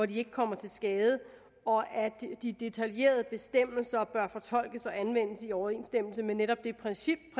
de ikke kommer til skade og at de detaljerede bestemmelser bør fortolkes og anvendes i overensstemmelse med netop det princip